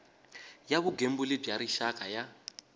ya vugembuli bya rixaka ya